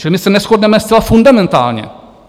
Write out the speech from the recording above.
Čili my se neshodneme zcela fundamentálně.